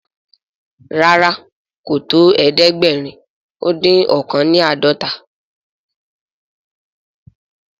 ràrá kò tó ẹdẹgbẹrin odin ọkan ni ãdọta.